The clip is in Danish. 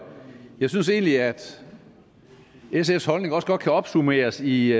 jeg synes egentlig at sfs holdning godt kan opsummeres i